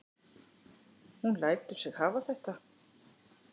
Hún lætur sig hafa þetta.